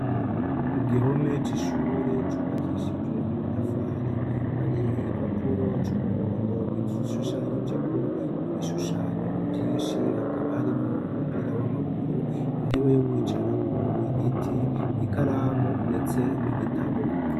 ku gihome cy'ishure cubakishije amatafari hari igipapuro c'umuhondo gishushanyije ko ibishushanyo byinshi hakaba harimo umupira w'amaguru intebe yo kwicara ko igiti ikaramu ndetse n'igitabo.